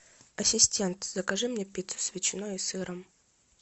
ассистент закажи мне пиццу с ветчиной и сыром